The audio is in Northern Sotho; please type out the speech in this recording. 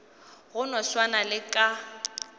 go no swana le ka